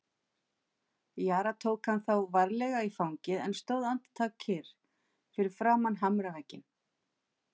Jóra tók hann þá varlega í fangið en stóð andartak kyrr fyrir framan hamravegginn.